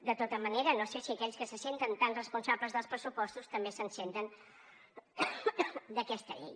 de tota manera no sé si aquells que se senten tan responsables amb els pressupostos també s’hi senten amb aquesta llei